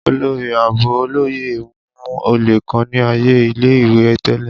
Olori Aabo Oloye mu ole kan ni aaye ile-iwe tẹlẹ.